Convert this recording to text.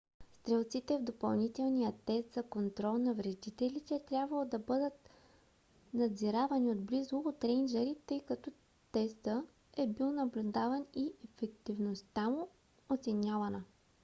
стрелците в допълнителния тест за контрол на вредителите е трябвало да бъдат надзиравани отблизо от рейнджъри тъй като тестъ е бил наблюдаван и ефикасността му оценявана